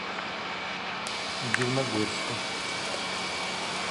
дивногорска